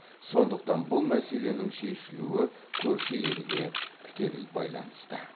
сондықтан бұл мәселенің шешілуі көрші елге тікелей байланысты